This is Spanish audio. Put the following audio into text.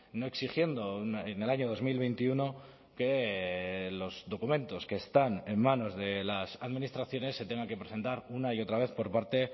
no exigiendo en el año dos mil veintiuno que los documentos que están en manos de las administraciones se tengan que presentar una y otra vez por parte